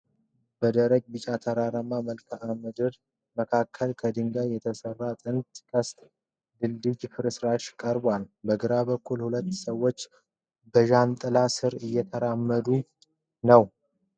በደረቅና ቢጫ ተራራማ መልክዓ ምድር መካከል ከድንጋይ የተሰራ ጥንታዊ ቅስት ድልድይ ፍርስራሽ ቀርቧል። በግራ በኩል ሁለት ሰዎች በጃንጥላ ስር እየተራመዱ ነው።